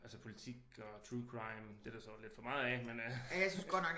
Altså politik og true crime det er der så lidt for meget af men øh